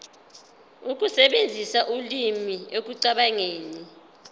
ukusebenzisa ulimi ekucabangeni